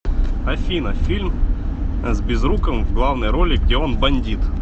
афина фильм с безруковым в главной роли где он бандит